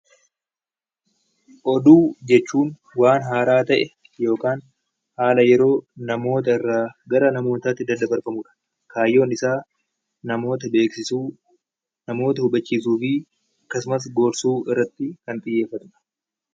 Oduu jechuun waan haaraa ta'e yookaan haala yeroo namoota irraa gara namootaatti daddabarfamudha. Kaayyoon isaa namoota beeksisuu, namoota hubachiisuu fi akkasumas gorsuu irratti kan xiyyeeffatudha.